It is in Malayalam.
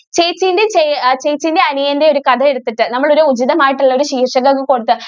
ഈ ചേച്ചിടെയും അനിയന്റെയും ഒരു കഥ എടുത്തിട്ട് നമ്മൾ ഒരു ഉചിതം ആയിട്ട് ഉള്ള ഒരു ശീർഷകം അങ്ങ് കൊടുക്കുക.